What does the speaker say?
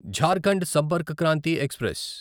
Jharkhand Sampark Kranti express